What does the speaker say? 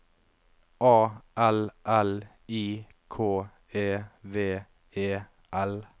A L L I K E V E L